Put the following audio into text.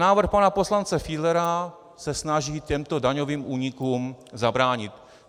Návrh pana poslance Fiedlera se snaží těmto daňovým únikům zabránit.